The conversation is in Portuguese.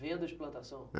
Venda de plantação?